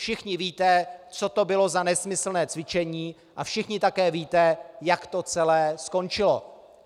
Všichni víte, co to bylo za nesmyslné cvičení, a všichni také víte, jak to celé skončilo.